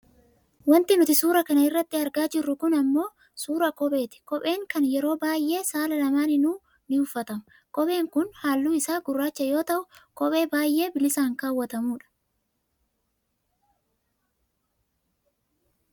Wanti nuti suura kana irratti argaa jirru kun ammoo suuraa kopheeti kopheen kun yeroo baayyee saala lamaaniinuu ni uffatama. Kopheen kun halluu isaa gurraacha yoo ta'u kophee baayyee bilisaan kaawwatamudha.